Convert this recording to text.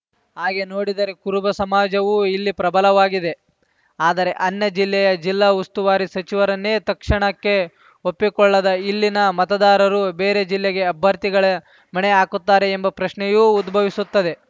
ಹಾಗೇ ನೋಡಿದರೆ ಕುರುಬ ಸಮಾಜವೂ ಇಲ್ಲಿ ಪ್ರಬಲವಾಗಿದೆ ಆದರೆ ಅನ್ಯ ಜಿಲ್ಲೆಯ ಜಿಲ್ಲಾ ಉಸ್ತುವಾರಿ ಸಚಿವರನ್ನೇ ತಕ್ಷಣಕ್ಕೆ ಒಪ್ಪಿಕೊಳ್ಳದ ಇಲ್ಲಿನ ಮತದಾರರು ಬೇರೆ ಜಿಲ್ಲೆಗೆ ಅಭ್ಯರ್ಥಿಗಳಿಗೆ ಮಣೆ ಹಾಕುತ್ತಾರೆ ಎಂಬ ಪ್ರಶ್ನೆಯೂ ಉದ್ಭವಿಸುತ್ತದೆ